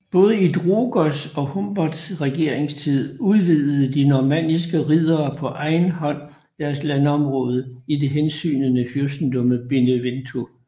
Både i Drogos og Humbert regeringstid udvidede de normanniske riddere på egen hånd deres landområder i det hensygnende fyrstedømme Benevento